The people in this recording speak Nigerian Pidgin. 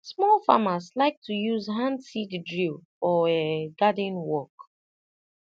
small farmers like to use hand seed drill for um garden work